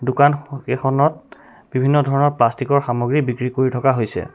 দোকান স কেখনত বিভিন্ন ধৰণৰ প্লাষ্টিকৰ সামগ্ৰী বিক্ৰী কৰি থকা হৈছে।